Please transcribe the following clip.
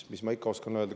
Mis ma ikka oskan öelda.